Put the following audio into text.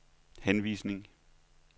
henvisning